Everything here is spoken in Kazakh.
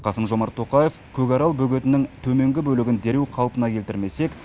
қасым жомарт тоқаев көкарал бөгетінің төменгі бөлігін дереу қалпына келтірмесек